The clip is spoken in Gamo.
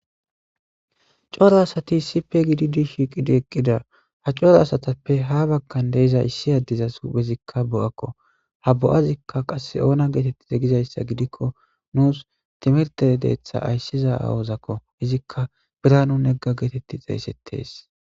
Coro asati issippe gidi di shiiqidi eqqida ha coro asatappe ha bakkan deiza issi addizas bezikka bo'akko ha bo'azikka qas oona geetetti egizayssa gidikko nuus timerte deetha ayssiza awozakko izikka bira nu negga geetetti xeeysettes.